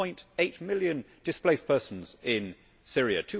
1.8 million displaced persons in Syria,